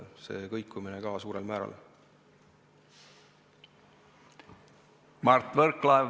Mart Võrklaev, palun!